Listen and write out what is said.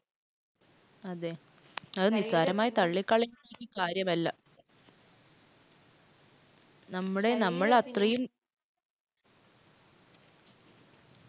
അതേ. അത് നിസ്സാരമായി തള്ളിക്കളയാവുന്ന കാര്യമല്ല. നമ്മുടെ നമ്മളത്രയും